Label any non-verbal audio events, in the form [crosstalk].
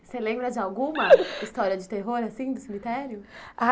Você lembra de alguma [laughs] história de terror, assim, do cemitério? Ah